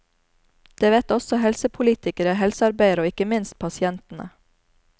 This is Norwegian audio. Det vet også helsepolitikere, helsearbeidere og ikke minst pasientene.